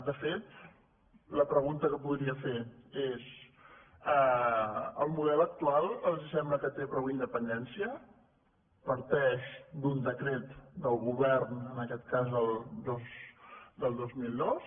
de fet la pregunta que podria fer és el mo·del actual els sembla que té prou independència par·teix d’un decret del govern en aquest cas del dos mil dos